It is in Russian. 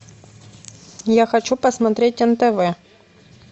я хочу посмотреть нтв